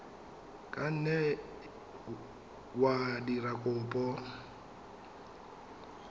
ka nne wa dira kopo